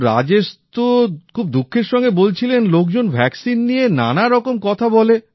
তো রাজেশ তো খুব দুঃখের সঙ্গে বলছিলেন লোকজন টিকা নিয়ে নানা রকম কথা বলে